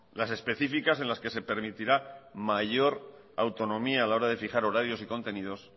las específicas en las que se permitirá mayor autonomía a la hora de fijar horarios y contenidos